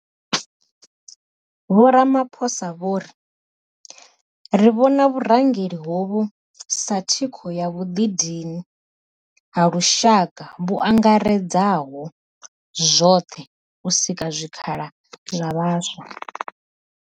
Vho Ramaphosa vho ri, Ri vhona vhurangeli hovhu sa thikho ya vhuḓi dini ha lushaka vhu angaredzaho zwoṱhe u sika zwikhala zwa vhaswa.